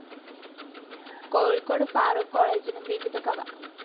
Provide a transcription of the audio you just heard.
കോഴിക്കോട് ഫാറൂഖ് കോളേജിലും വിവിധ ഗവ.